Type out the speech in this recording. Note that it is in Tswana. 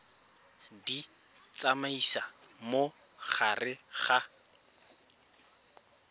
di tsamaisa mo gare ga